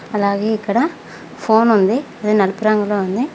అలాగే ఇక్కడ ఫోన్ ఉంది అది నలుపు రంగులో ఉంది.